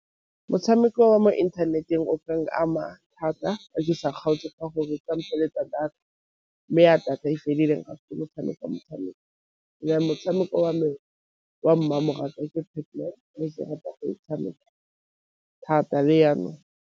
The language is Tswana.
Motshameko wa mo inthaneteng o ka n'ama thata ke sa kgaotse ka gore ka mpheletsa data, mme ya data motshameko motshameko. motshameko wa me wa mmamoratwa tshameka thata le jaanong.